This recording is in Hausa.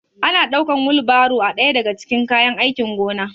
Ana ɗaukan wilbairo a ɗaya daga cikin kayan aikin gona